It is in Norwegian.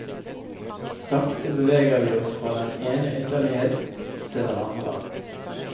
Sakte beveger vi oss fra den ene ytterlighet til den andre.